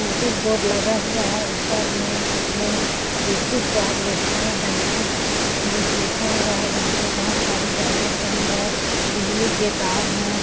Notice board लगा हुआ है ऊपर में जिसमें देसी सुवाद रेस्टोरेंट एंड फ़ूड लिखा हुआ है यहाँ पे बहुत सारी गाड़ियाँ खड़ी है बिजली के तार है। .